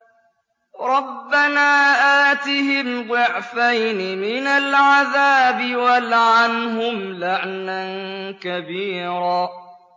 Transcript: رَبَّنَا آتِهِمْ ضِعْفَيْنِ مِنَ الْعَذَابِ وَالْعَنْهُمْ لَعْنًا كَبِيرًا